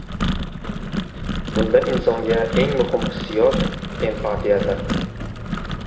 Bunda insonga eng muhim hissiyot empatiyadir.